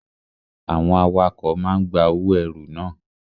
Àwọn awakọ̀ máa ń gba owó ẹrù na.